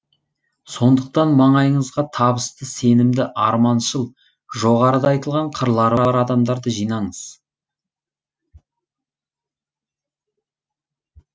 сондықтан маңайыңызға табысты сенімді арманшыл жоғарыда айтылған қырлары бар адамдарды жинаңыз